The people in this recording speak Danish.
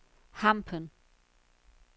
Hampen